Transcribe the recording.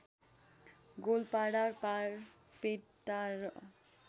गोलपाडा बारपेटा र